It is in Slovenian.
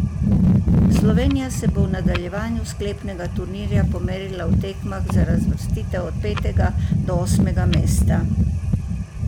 Slovenija se bo v nadaljevanju sklepnega turnirja pomerila v tekmah za razvrstitev od petega do osmega mesta.